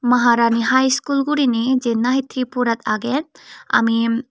maharani high school guriney jen nahi tripurat agey ami.